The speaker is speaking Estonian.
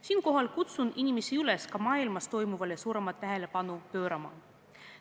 Siinkohal kutsun inimesi üles ka maailmas toimuvale suuremat tähelepanu pöörama.